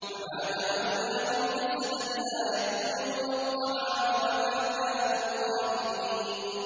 وَمَا جَعَلْنَاهُمْ جَسَدًا لَّا يَأْكُلُونَ الطَّعَامَ وَمَا كَانُوا خَالِدِينَ